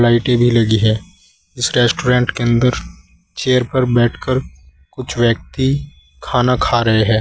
लाइटें भी लगी हैं इस रेस्टोरेंट के अंदर चेयर पर बैठकर कुछ व्यक्ति खाना खा रहे हैं।